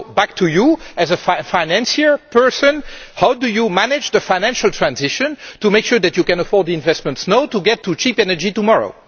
So back to you, as a financial person how do you manage the financial transition to make sure that you can afford the investments now to get to cheap energy tomorrow?